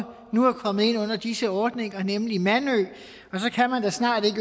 nu er kommet ind under disse ordninger nemlig mandø og så kan man da snart ikke